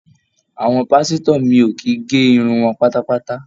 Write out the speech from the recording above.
Àwọn pásítọ̀ mi ò kì í gé irun wọn pátápátá.